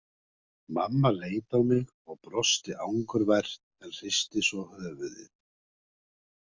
Mamma leit á mig og brosti angurvært en hristi svo höfuðið.